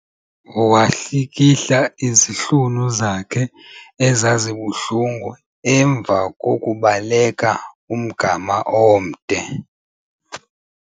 Wahlikihla izihlunu zakhe ezazibuhlungu emva kokubaleka umgama omde.